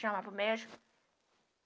Chama para o médico.